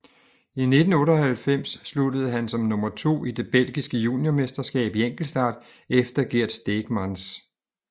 I 1998 sluttede han som nummer to i det belgiske juniormesterskab i enkeltstart efter Gert Steegmans